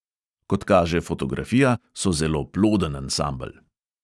Kot kaže fotografija, so zelo ploden ansambel.